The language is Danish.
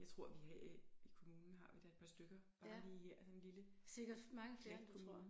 Jeg tror vi her i kommunen har vi da et par stykker bare lige her sådan en lille kommune